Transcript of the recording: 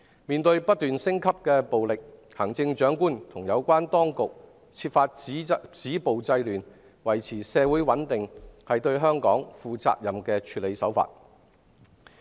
面對不斷升級的暴力，行政長官和有關當局設法止暴制亂，維持社會穩定，這是對香港負責任的處理手法。